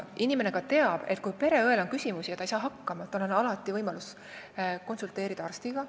Inimene teab, et kui pereõel on küsimusi või ta ei saa ise hakkama, siis on tal alati võimalus konsulteerida arstiga.